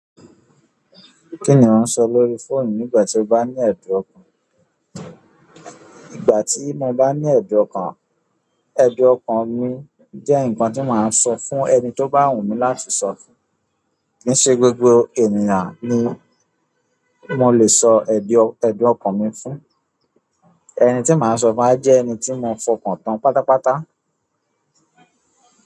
Kí ni à ń sọ lórí fóònù nígbà tí ó bá ní ẹ̀dùn ọkàn? Ígbà tí mo bá ní ẹ̀dùn ọkàn, ẹ̀dùn ọkàn mi jẹ́ nǹkan tí màá sọ fún ẹni tí ó bá wù mí láti sọ fún. Kì í ṣe gbogbo ènìyàn ni mo le sọ ẹ̀dùn, ẹ̀dùn ọkàn mi fún. Ẹni tí màá sọ fún á jẹ́ ẹni tí mo fọkàn tán pátápátá.